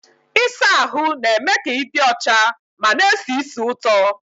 Ịsa ahụ na-eme ka ị dị ọcha ma na esi ísì ụtọ.